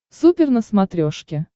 супер на смотрешке